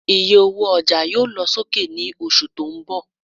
Ìyé ọwọ ọjà yóò lọ sókè ní oṣù tó ń bò